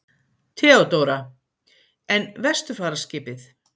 THEODÓRA: En vesturfaraskipið?